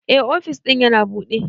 Eh, ofis din yana buɗe.